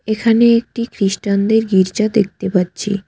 এখানে একটি খ্রিস্টানদের গির্জা দেখতে পাচ্ছি।